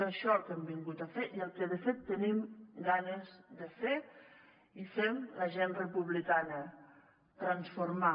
és això el que hem vingut a fer i el que de fet tenim ganes de fer i fem la gent republicana transformar